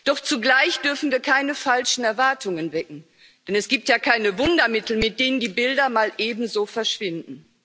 Doch zugleich dürfen wir keine falschen Erwartungen wecken, denn es gibt ja keine Wundermittel, mit denen die Bilder mal eben so verschwinden.